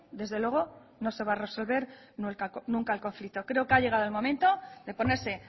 desde luego no se va a resolver nunca el conflicto creo que ha llegado el momento de ponerse